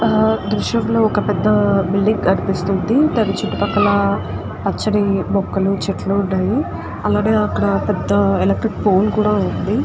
ఆ దృశ్యం లో ఒక పెద్ద బిల్డింగ్ కనిపిస్తుంది దాని చుట్టూ పక్కల పచ్చని చెట్లు మొక్కాలు ఉన్నాయి అలాగే అక్కడ పెద్ద ఎలెక్ట్రిక్ పోల్ కూడా ఉంది.